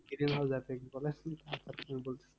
Greenhouse effect বলে